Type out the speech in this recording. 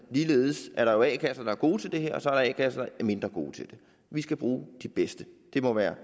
ligeledes er der jo a kasser der er gode til det her og så er der a kasser der er mindre gode til det vi skal bruge de bedste det må være